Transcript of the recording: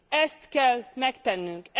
Ezt kell megtennünk.